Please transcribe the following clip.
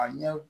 A ɲɛ